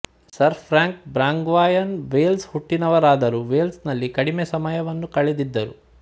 sir Frank Brangwyn Welsh ಹುಟ್ಟಿನವರಾದರೂ Wales ನಲ್ಲಿ ಕಡಿಮೆ ಸಮಯವನ್ನು ಕಳೆದಿದ್ದರು